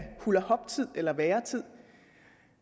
hulahoptid eller væretid